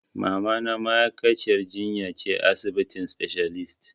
Mamana ma'aikaciyar jinya ce a asibitin specialist.